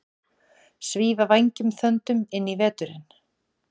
Svífa vængjum þöndum inn í veturinn